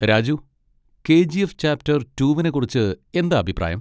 Raju, K. G. F chapter റ്റൂവിനെ കുറിച്ച് എന്താ അഭിപ്രായം?